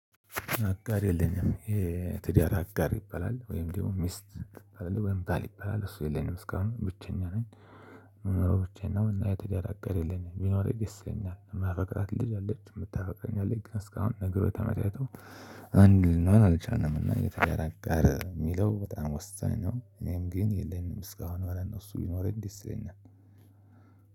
አጋር የለኝም። የትዳር አጋር ይበላል ወይም ደሞ ሚስት አይደለ ወይም ባል ይበላል እሱ የለኝም እስካሁን ብቸኛ ነኝ። እምኖረው ብቻዬን ነው። እና የትዳር አጋር የለኝም። ቢኖርኝ ደሰ ይለኛል እማፈቅራት ልጅ አለች እምታፈቅረኝ አለች ግን እስካሁን ነግሮች ተመቻችተው አንድ ልንሆን አልቻለም። እና የትዳር እሚለው በጣም ወሳኝ ነው። እኔም ግን የለኝም እስካሁን ማለት ነው። እሱ ቢኖረኝ ደስ ይለኛል።